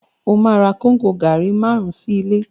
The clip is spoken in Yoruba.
Ó ma ra Kóngò gàárì márùn-ún sí ilé